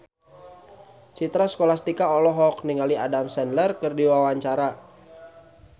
Citra Scholastika olohok ningali Adam Sandler keur diwawancara